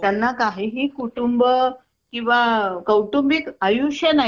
अं अं